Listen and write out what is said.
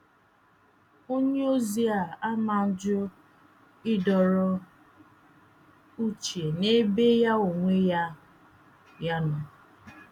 onyeozi a ama ajụ ịdọrọ uche n’ebe ya onwe ya ya nọ.